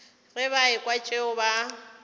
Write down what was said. ge ba ekwa tšeo ba